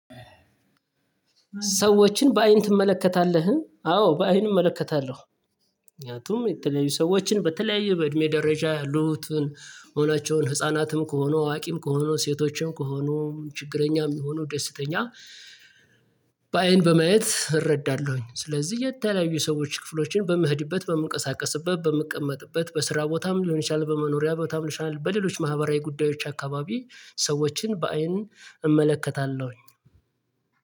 ሰዎችን በአይን ትመለከታለህ? አዎ በአይን እመለከታለሁ። ምክንያቱም የተለያዩ ሰዎችን በተለያዩ በእድሜ ደረጃ ያሉትን አይናቸውን ህፃናትም ከሆኑ አዋቂም ከሆኑ ሴቶችም ከሆኑ ችግረኛም ይሁኑ ደስተኛ በአይን በማየት እረዳለሁኝ። ስለዚህ የተለያዩ ሰዎች ክፍሎችን በምሄድበት በምንቀሳቀስበት በምቀመጥበት በስራ ቦታም ሊሆን ይችላል በመኖሪያ ቦታም ይችላል በሌሎች ማህበራዊ ጉዳዮች አካባቢ ሰዎችን በአይን እመለከታለሁ።